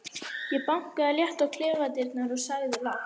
Ég bankaði létt á klefadyrnar og sagði lágt